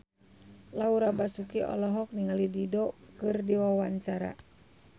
Laura Basuki olohok ningali Dido keur diwawancara